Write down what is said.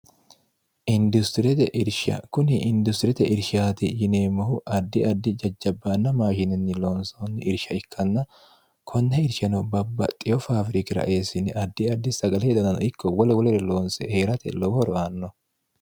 industiriyete irsha kuni industiriyete irshaati yineemmohu addi addi jajjabbaanna maashininni loonsoonni irsha ikkanna konna irshano babba xeyo faawirikira eessini addi addi sagale hedanano ikko wole wolere loonse hee'rate lowo horoanno